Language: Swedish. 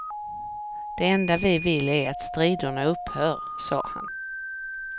Det enda vi vill är att striderna upphör, sade han.